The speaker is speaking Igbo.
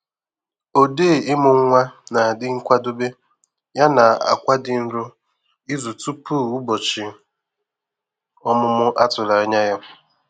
Odee imụ nwa na-adi nkwadobe ya na-akwa di nro izu tupu ụbọchị ọmụmụ a tụrụ anya ya